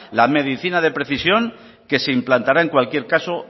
la medicina de precisión que se implantará en cualquier caso